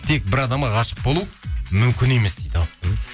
тек бір адамға ғашық болу мүмкін емес дейді ал